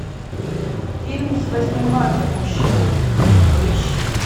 фильм с восьмым марта мужчины поищи